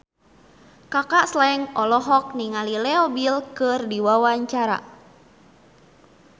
Kaka Slank olohok ningali Leo Bill keur diwawancara